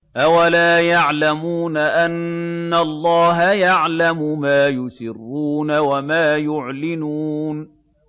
أَوَلَا يَعْلَمُونَ أَنَّ اللَّهَ يَعْلَمُ مَا يُسِرُّونَ وَمَا يُعْلِنُونَ